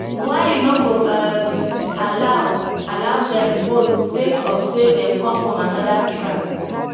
why you no go um allow allow dem vote sake of say dem come from anoda tribe.